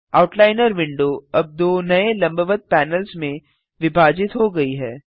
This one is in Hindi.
आउटलाइनर विंडो अब दो नये लंबवत पैनल्स में विभाजित हो गई है